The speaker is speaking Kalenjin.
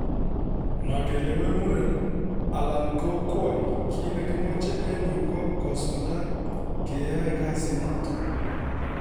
"Ma kelewen muren alan ko kwony, kit ne kimoche en yu ko kisulda keyoe kasinoton."